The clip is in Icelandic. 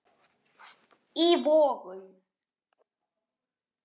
í Vogum.